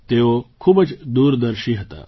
તેઓ ખૂબ જ દૂરદર્શી હતા